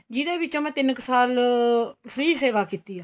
ਜਿਹਦੇ ਵਿੱਚ ਮੈਂ ਤਿੰਨ ਕ ਸਾਲ free ਸੇਵਾ ਕੀਤੀ ਏ